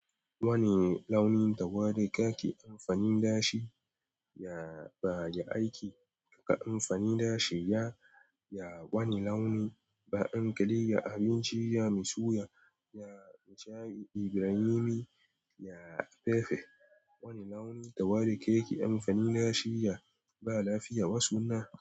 Wani launi tawari ka ke amfani da shi? Ya ba da aiki. Ka amfani da shi. Ya, ya wani launi. Ba'an kadai. Ya abinci. Ya mu suya. Ya mai sha'i da wuri. Ya fefe. Wani launi tawari ka ke amfani na shi. Ya ba lafiya. Wasuna.